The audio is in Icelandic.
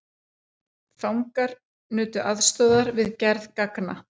Fangar nutu aðstoðar við gerð ganga